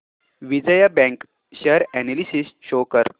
Vijaya bank share analysis show कर